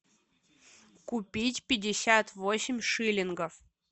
купить пятьдесят восемь шиллингов